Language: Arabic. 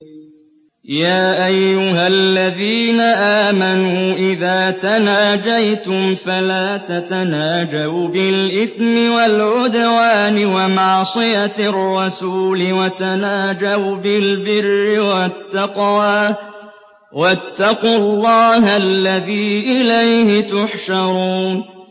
يَا أَيُّهَا الَّذِينَ آمَنُوا إِذَا تَنَاجَيْتُمْ فَلَا تَتَنَاجَوْا بِالْإِثْمِ وَالْعُدْوَانِ وَمَعْصِيَتِ الرَّسُولِ وَتَنَاجَوْا بِالْبِرِّ وَالتَّقْوَىٰ ۖ وَاتَّقُوا اللَّهَ الَّذِي إِلَيْهِ تُحْشَرُونَ